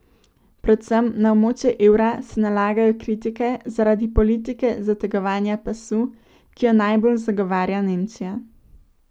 Predvsem na območje evra se nalagajo kritike zaradi politike zategovanja pasu, ki jo najbolj zagovarja Nemčija.